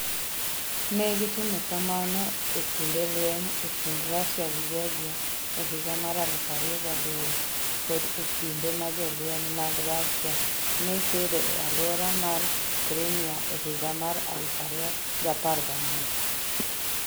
Ne gitimo kamano e kinde lweny e kind Russia gi Georgia e higa mar 2008 kod e kinde ma jolweny mag Russia ne kedo e alwora mar Crimea e higa mar 2014.